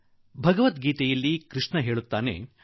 ಗೀತೆಯಲ್ಲಿ ಭಗವಾನ್ ಶ್ರೀ ಕೃಷ್ಣ ಹೇಳಿದ್ದಾನೆ